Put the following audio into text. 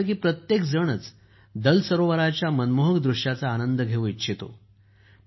आपल्यापैकी प्रत्येकजणच दल सरोवराच्या मनमोहक दृश्याचा आनंद घेऊ इच्छितो